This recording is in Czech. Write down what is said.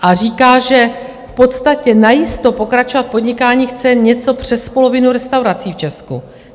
A říká, že v podstatě najisto pokračovat v podnikání chce něco přes polovinu restaurací v Česku.